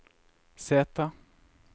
sete